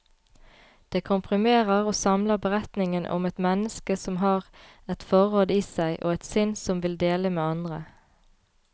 Det komprimerer og samler beretningen om et menneske som har et forråd i seg, og et sinn som vil dele med andre.